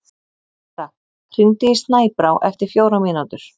Ora, hringdu í Snæbrá eftir fjórar mínútur.